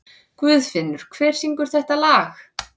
Guðfinnur, hver syngur þetta lag?